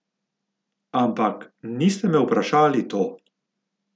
Ampak, niste me vprašali to?